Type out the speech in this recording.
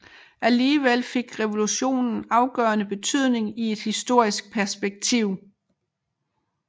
Alligevel fik revolutionen afgørende betydning i et historisk perspektiv